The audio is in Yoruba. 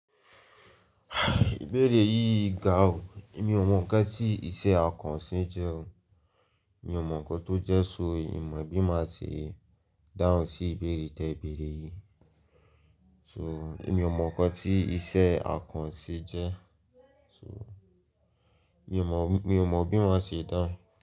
Ìbéèrè yìí ga o. Èmi ò mọ̀ nǹkan tí iṣẹ́ akànṣe jẹ́ o. Èmi ò mọ̀ nǹkan tó jẹ́ so, Ì mọ̀ bí màá ṣe dáhùn sí ìbéèrè tí ẹ béèrè yìí. So, èmi ò mọ̀ nǹkan tí iṣẹ́ akànṣe jẹ́. So, èmi ò mọ̀, èmi ò mọ̀ bí màá ṣe dáhùn.